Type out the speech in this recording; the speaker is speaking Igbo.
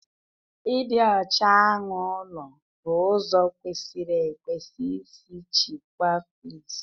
Ịdị ọcha anụ ụlọ bụ ụzọ kwesịrị ekwesị isi chịkwaa fleas